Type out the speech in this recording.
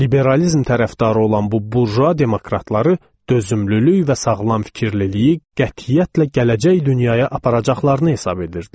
Liberalizm tərəfdarı olan bu burjua demokratları dözümlülük və sağlam fikirlliliyi qətiyyətlə gələcək dünyaya aparacaqlarını hesab edirdilər.